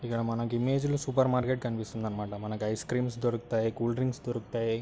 ఇక్కడ ఇమేజ్ లో మనకు సూపర్ మార్కెట్ కనిపిస్తుంది అన్నమాట. మనకు ఐస్ క్రీమ్ స్ దొరుకుతాయి. కూల్ డ్రింక్స్ దొరుకుతాయి.